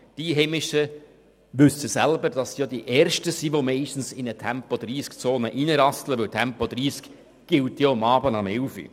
Die Einheimischen wissen selber, dass sie die ersten sind, die in eine Tempo-30-Zone «hineinrasseln», weil Tempo 30 ja abends um 23 Uhr gilt.